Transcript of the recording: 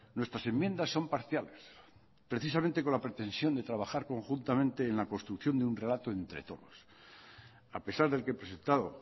nuestras enmiendas son parciales precisamente con la pretensión de trabajar conjuntamente en la construcción de un relato entre todos a pesar del que he presentado